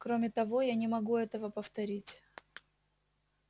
кроме того я не могу этого повторить